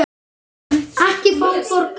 Ekki fá borga.